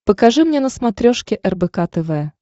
покажи мне на смотрешке рбк тв